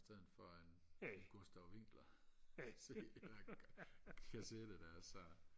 sådan fra en en gustav vinkler sådan en kassette der så